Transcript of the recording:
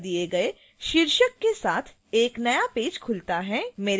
मेरे द्वारा दिए गए शीर्षक के साथ एक नया पेज खुलता है